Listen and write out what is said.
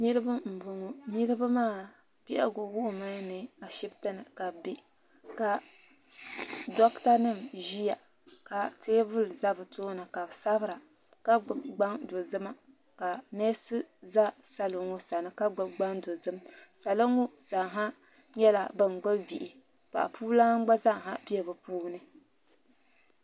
niriba m bɔŋɔ niriba maa bɛhigu wuhimi ni ashɛbitɛni ka be bɛ ka dogitɛ nim ʒɛya ka tɛbuli za be tuuni ka be sabira ka gbabi gban dozima ka nɛsi za salo ŋɔ sani ka gbabi gban dozim salo ŋɔ zasa nyɛla ban gbabi bihi paɣ' puna gba zaa bɛ be puuni